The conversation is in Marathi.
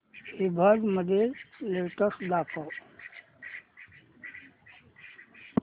ईबझ लेटेस्ट दाखव